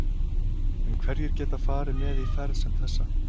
En hverjir geta farið með í ferð sem þessa?